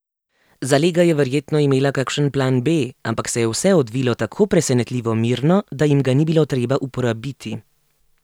Zalega je verjetno imela kakšen plan B, ampak se je vse odvilo tako presenetljivo mirno, da jim ga ni bilo treba uporabiti.